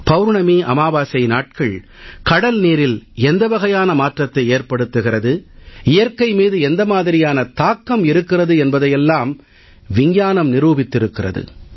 பவுர்ணமி அமாவாசை நாட்கள் கடல் நீரில் எந்த வகையான மாற்றத்தை ஏற்படுத்துகிறது இயற்கை மீது எந்த மாதிரியான தாக்கம் இருக்கிறது என்பதையெல்லாம் அறிவியல் நிரூபித்திருக்கிறது